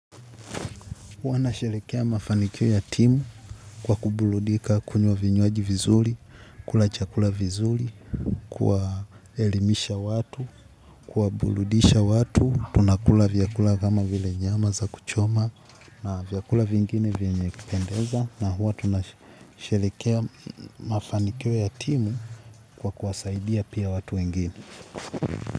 Huwa na sherekea mafanikio ya timu kwa kubuludika kunywa vinywaji vizuli, kula chakula vizuli, kuwaelimisha watu, kuwabuludisha watu, tunakula vyakula kama vile nyama za kuchoma na vyakula vingine vyenye kupendeza na huwa tunasherekea mafanikio ya timu kwa kuwasaidia pia watu wengine.